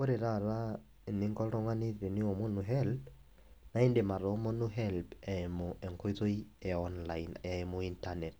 Ore taata eninko oltungani teniomonu helb naa indim atoomonu helb eimu enkoitoi eonline eimu internet,